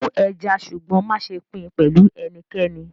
Smoke the fish but do not share it with anyone